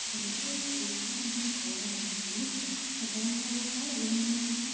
Generally schools colleges అన్ని ఎక్కడైనా కూడా ఏదైనా.